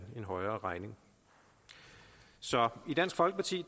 højere regning i dansk folkeparti